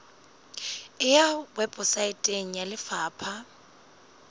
e ya weposaeteng ya lefapha